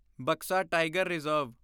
Buxa tiger reserve